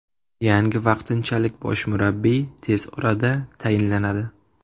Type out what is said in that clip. Yangi vaqtinchalik bosh murabbiy tez orada tayinlanadi.